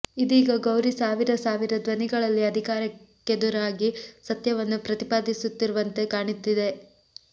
ಇದೀಗ ಗೌರಿ ಸಾವಿರ ಸಾವಿರ ಧ್ವನಿಗಳಲ್ಲಿ ಅಧಿಕಾರಕ್ಕೆದುರಾಗಿ ಸತ್ಯವನ್ನು ಪ್ರತಿಪಾದಿಸುತ್ತಿರುವಂತೆ ಕಾಣುತ್ತಿದೆ